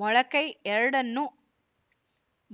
ಮೊಳಕೈ ಎರಡನ್ನೂ